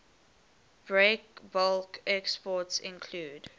breakbulk exports include